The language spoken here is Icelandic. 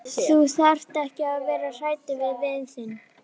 Þú þarft ekki að vera hræddur við vin þinn.